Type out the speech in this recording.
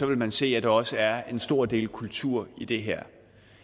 vil man se at der også er en stor del kultur i det her